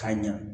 Ka ɲa